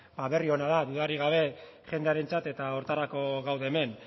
ba berri ona da dudarik gabe jendearentzat eta horretarako gaude hemen